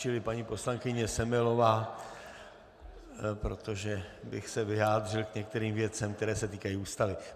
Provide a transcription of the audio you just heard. Čili paní poslankyně Semelová - protože bych se vyjádřil k některých věcem, které se týkají Ústavy.